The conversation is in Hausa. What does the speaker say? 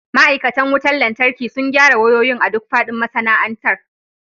Ma'aikatan wutar lantarki sun gyara wayoyin a duk faɗin masana'antar.